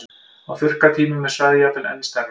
Á þurrkatímum er svæðið jafnvel enn stærra.